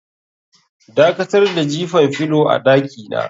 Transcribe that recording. Dakatar da jifan filo a dakina.